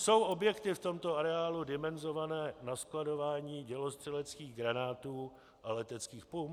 Jsou objekty v tomto areálu dimenzované na skladování dělostřeleckých granátů a leteckých pum?